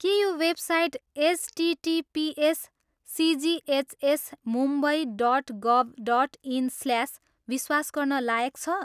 के यो website HTTPS CGHS Mumbai dot गभ dot इन् slash विश्वास गर्न लायक छ?